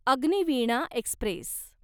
Agniveena Express